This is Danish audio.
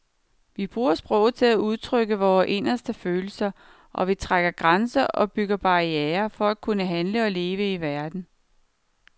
Vi bruger sproget til at udtrykke vore inderste følelser, og vi trækker grænser og bygger barrierer for at kunne handle og leve i verden.